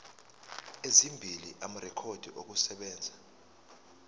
ezimbili amarekhodi okusebenza